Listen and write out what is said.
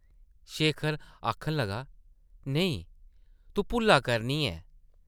शेखर आखन लगा, नेईं, तूं भुल्ला करनी ऐं ।